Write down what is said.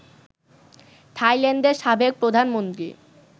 থাইল্যান্ডের সাবেক প্রধানমন্ত্রী